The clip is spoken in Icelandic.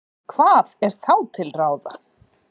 hvað er þá til ráða